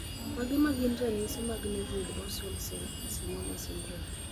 Mage magin ranyisi mag Nevoid basal cell carcinoma syndrome?